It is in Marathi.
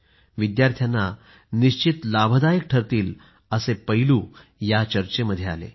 यामुळे विद्यार्थ्यांना निश्चित लाभदायक ठरतील असे पैलू यावेळी चर्चेमध्ये आले